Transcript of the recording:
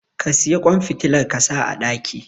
ka siyi kwan fitilar kasa a daki